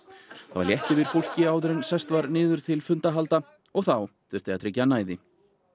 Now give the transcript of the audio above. það var létt yfir fólki áður en sest var niður til fundahalda og þá þurfti að tryggja næði